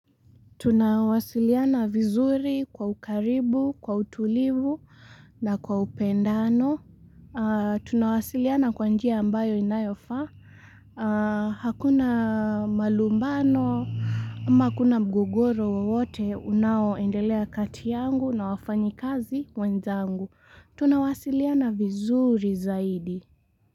Tunawasiliana vizuri kwa ukaribu, kwa utulivu na kwa upendano. Tunawasiliana kwa njia ambayo inayofaa. Hakuna malumbano, ama akuna mgogoro wowote unaoendelea kati yangu na wafanyikazi wenzangu. Tunawasiliana vizuri zaidi.